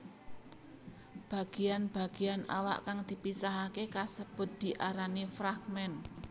Bagéyan bagéyan awak kang dipisahaké kasebut diarani fragmen